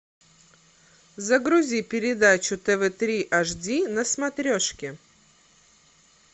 загрузи передачу тв три ашди на смотрешке